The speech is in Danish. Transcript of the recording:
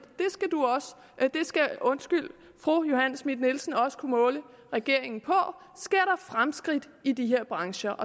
det skal fru johanne schmidt nielsen også kunne måle regeringen på sker fremskridt i de her brancher